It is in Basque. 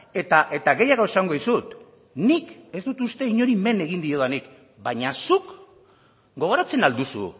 eta gehiago esango dizut nik ez dut uste inori men egin diodanik baina zuk gogoratzen al duzu